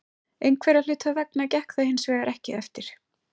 Einhverra hluta vegna gekk það hinsvegar ekki eftir.